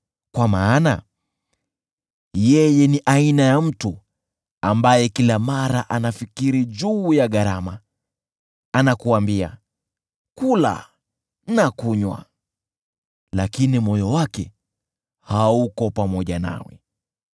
kwa maana yeye ni aina ya mtu ambaye kila mara anafikiri juu ya gharama. Anakuambia, “Kula na kunywa,” lakini moyo wake hauko pamoja nawe.